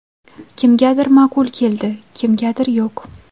Kimgadir ma’qul keldi, kimgadir yo‘q.